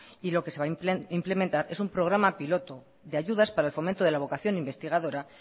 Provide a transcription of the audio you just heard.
y lo que se va a implementar es un programa piloto de ayudas para el fomento de la vocación investigadora